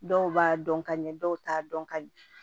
Dɔw b'a dɔn ka ɲɛ dɔw t'a dɔn ka ɲɛ